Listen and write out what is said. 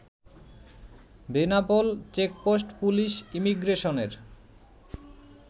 Benapole checkpost police ইমিগ্রেশনের